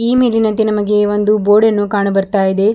ಈ ಮೇಲಿನಂತೆ ನಮಗೆ ಒಂದು ಬೋರ್ಡ್ ಅನ್ನು ಕಾಣು ಬರ್ತಾಇದೆ.